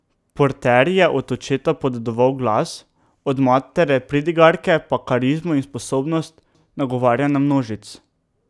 Porter je od očeta podedoval glas, od matere pridigarke pa karizmo in sposobnost nagovarjanja množic.